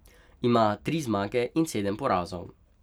Ima tri zmage in sedem porazov.